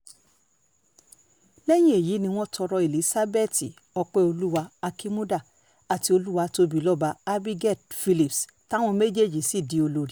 lẹ́yìn èyí ni wọ́n tọrọ elizabeth ọpẹ́ọ́lwà akínmúdà àti olùwàtòbilọ́ba abigail philipps táwọn méjèèjì sì di olórí